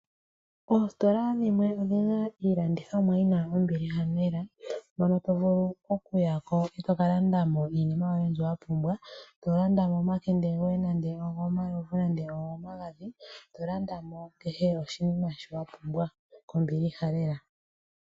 Oositola dhimwe odhi na iilandithomwa yi na ombiliha lela mono to vulu okuya ko eto ka landa mo iinima yoye mbyoka wa pumbwa, to landa mo nande omakende goye gomalovu nenge gomagadhi. To landa mo kehe oshinima shoka wa pumbwa kombiliha lela.